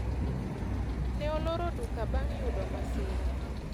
ne oloro duka bang' yudo masira